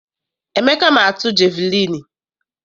Emeka ma atu jeviliini.